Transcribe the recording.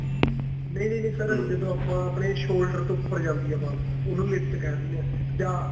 ਨਹੀਂ ਨਹੀਂ ਨਹੀਂ sir ਜਦੋਂ ਆਪਾਂ ਆਪਣੇ shoulder ਤੋਂ ਉਪਰ ਜਾਂਦੀ ਏ ball ਉਨੂੰ lift ਕਹਿ ਦਿੰਦੇ ਆ ਜਾਂ